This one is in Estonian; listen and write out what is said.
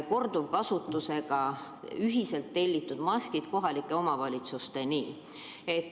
Ta ütles, et ta ei ole selle valdkonnaga hästi kursis.